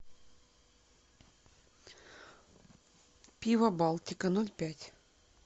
пиво балтика ноль пять